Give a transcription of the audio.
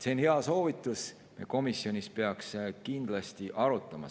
See on hea soovitus, me komisjonis peaks kindlasti seda arutama.